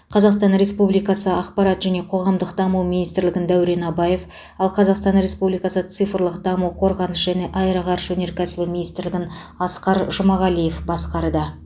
қазақстан республикасы ақпарат және қоғамдық даму министрлігін дәурен абаев ал қазақстан республикасы цифрлық даму қорғаныс және аэроғарыш өнеркәсібі министрлігін асқар жұмағалиев басқарды